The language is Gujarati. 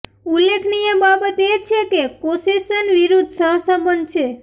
ઉલ્લેખનીય બાબત એ છે કે કૌસેશન વિરુદ્ધ સહસંબંધ છે